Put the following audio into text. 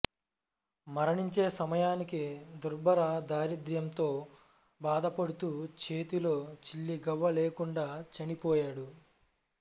మరణించే సమయానికి దుర్భర దారిద్ర్యంతో బాధపడుతూ చేతిలో చిల్లిగవ్వ లేకుండా చనిపోయాడు